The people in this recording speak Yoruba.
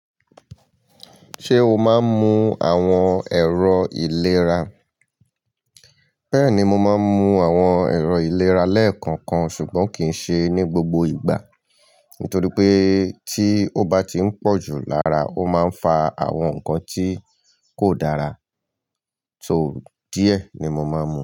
Ṣé o máa ń mu àwọn ẹ̀rọ ìlera? Bẹ́ẹ̀ni, mo máa ń mu àwọn ẹ̀rọ ìlera lẹ́ẹ̀kankan ṣùgbọ́n kì í ṣe ní gbogbo ìgbà, nítorí pé tí ó bá ti ń pọ̀jù lára ó máa ń fà àwọn nǹkan tí kò dára. So, díẹ̀ ni mo máa ń mu.